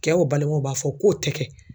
Cɛw balimaw b'a fɔ k'o ti kɛ